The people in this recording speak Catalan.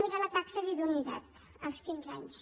mirem la taxa d’idoneïtat als quinze anys